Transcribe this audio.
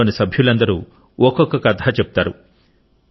కుటుంబం లోని సభ్యులందరూ ఒక్కొక్క కథ చెబుతారు